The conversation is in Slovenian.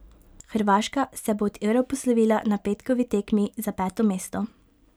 Hrvaška se bo od Eura poslovila na petkovi tekmi za peto mesto.